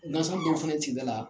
Nasira dɔ fana ye sigida la